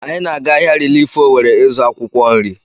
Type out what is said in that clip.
Anyị na-aga ahịa rilif Owere ịzụ akwụkwọ nrị.